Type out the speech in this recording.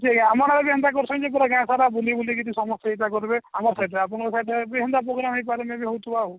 କିଏ କିଏ ଆମର ଆଜ୍ଞା ହେନ୍ତା କରୁସନ ଯେ ପୁରା ଗାଁ ସାରା ବୁଲିବୁଲି କିରି ସମସ୍ତିଙ୍କି ଡାକୁଥିବେ ଆମର ସେଟା ଆପଣଙ୍କର ବି ହେନ୍ତା program ହେଇପାରେ maybe ହାଉଥିବ ଆଉ